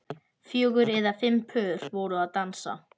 Fjögur eða fimm pör voru að dansa